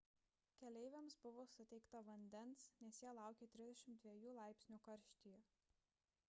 keleiviams buvo suteikta vandens nes jie laukė 32 laipsnių karštyje